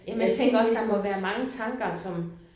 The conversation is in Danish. Men at tingene ikke må